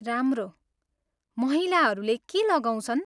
राम्रो। महिलाहरूले के लगाउँछन्?